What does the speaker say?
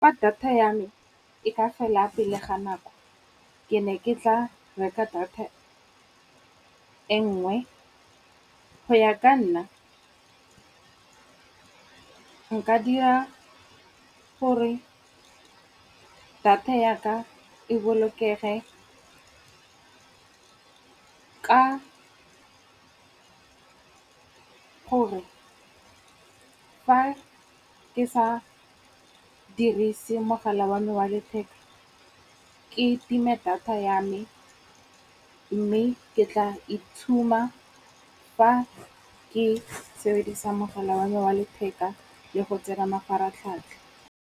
Data ya me e ka fela pele ga nako ke ne ke tla reka data e nngwe. Go ya ka nna, nka dira gore data ya ka e bolokege ka gore fa ke sa dirise mogala wa me wa letheka, ke time data ya me. Mme ke tla itshuma fa ke sebedisa mogala wa me wa letheka le go tsena mafaratlhatlha.